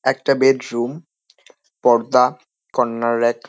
একটা বেডরুম পর্দা corner rack.